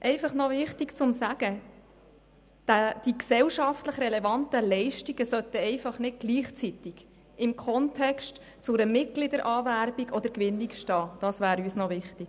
Wichtig wäre uns dabei, dass die gesellschaftlich relevanten Leistungen nicht einfach gleichzeitig im Kontext einer Mitgliederanwerbung oder -gewinnung stehen sollten.